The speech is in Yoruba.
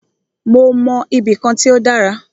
Mó mọ ibì kan tí o dára.